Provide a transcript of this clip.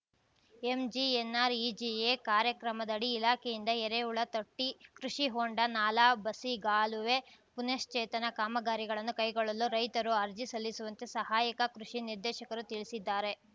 MGNREGA ಕಾರ್ಯಕ್ರಮದಡಿ ಇಲಾಖೆಯಿಂದ ಎರೆಹುಳ ತೊಟ್ಟಿ ಕೃಷಿ ಹೊಂಡ ನಾಲಾ ಬಸಿಗಾಲುವೆ ಪುನಶ್ಚೇತನ ಕಾಮಗಾರಿಗಳನ್ನು ಕೈಗೊಳ್ಳಲು ರೈತರು ಅರ್ಜಿ ಸಲ್ಲಿಸುವಂತೆ ಸಹಾಯಕ ಕೃಷಿ ನಿರ್ದೇಶಕರು ತಿಳಿಸಿದ್ದಾರೆ